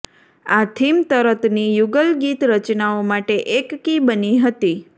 આ થીમ તરતની યુગલગીત રચનાઓ માટે એક કી બની હતી